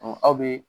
aw bɛ